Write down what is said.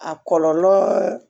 A kɔlɔlɔ